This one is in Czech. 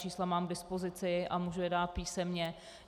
Čísla mám k dispozici a mohu je dát písemně.